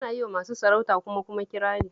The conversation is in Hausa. Ana yi wa masu sarauta kuma kuma kirari